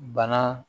Bana